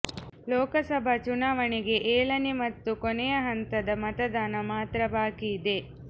ಲೋಕಸಭಾ ಚುನಾವಣೆಗೆ ಏಳನೇ ಮತ್ತು ಕೊನೆಯ ಹಂತದ ಮತದಾನ ಮಾತ್ರ ಬಾಕಿ ಇದೆ